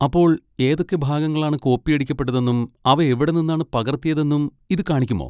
അപ്പോൾ ഏതൊക്കെ ഭാഗങ്ങളാണ് കോപ്പിയടിക്കപ്പെട്ടതെന്നും അവ എവിടെ നിന്നാണ് പകർത്തിയതെന്നും ഇത് കാണിക്കുമോ?